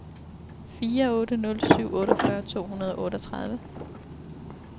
fire otte nul syv otteogfyrre to hundrede og otteogtredive